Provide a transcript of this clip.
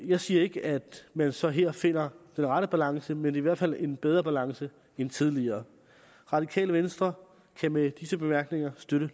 jeg siger ikke at man så her finder den rette balance men i hvert fald en bedre balance end tidligere radikale venstre kan med disse bemærkninger støtte